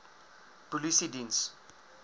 polisiediens